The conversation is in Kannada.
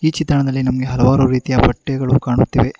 ಈ ಚಿತ್ರಣದಲ್ಲಿ ನಮ್ಗೆ ಹಲವಾರು ರೀತಿಯ ಬಟ್ಟೆಗಳು ಕಾಣುತ್ತಿವೆ.